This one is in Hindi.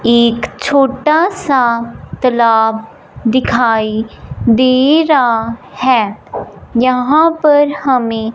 एक छोटा सा तलाब दिखाई दे रहा है। यहां पर हमें--